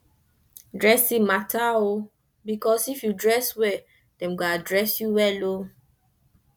dressing mata o bikos if yu dress wel dem go address yu wel o